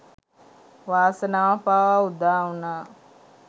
වාසනාව පවා උදාවුනා